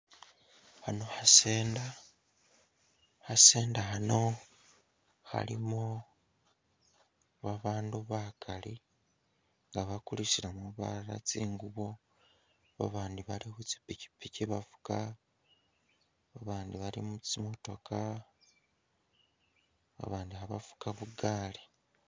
Hano kha Centre, kha Centre khano khalimo babandu bakali nga bakulisilamo balala tsingubo babandupi bali khu tsipikipiki bafuka ,babandi bali mu tsimotookha, babandi khabafuka bugaali